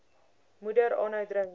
moeder aanhou drink